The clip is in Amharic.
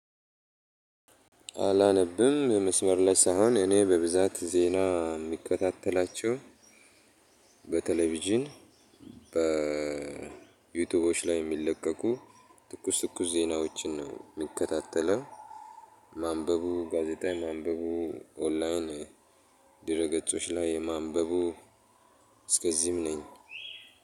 አላነብም የመስመር ላይ ሳህን እኔ በብዛት ዜና የምከታተላቸው በቴሌቪዥን በዩቲዩቦች ላይ የሚለቀቁ ትኩስ ትኩስ ዜናዎችን ነው እምከታተለው። ማንበቡ ጋዜጣ ማንበቡ ኦንላይን ድረገፆች ላይ ማንበቡ እስከዚህም ነኝ።